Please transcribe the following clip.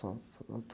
Só, só na